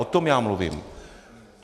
O tom já mluvím.